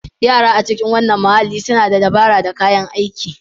Yara a cikin wannan muhalli suna da dabara da kayan aiki.